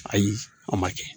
Ayi a ma kɛ